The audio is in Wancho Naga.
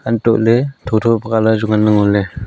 untohley tho-tho ka colour chu nganley ngoley.